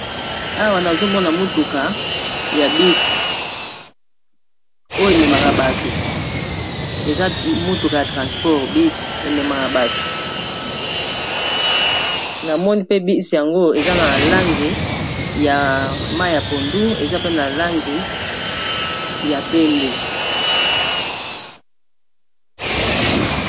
awa nazomona motuka ya bisi oyo ememaka bato eza motuka ya transport bisi ememaka bato na moni pe bis yango eza na lange ya ma ya pondu eza pe na lange ya pembe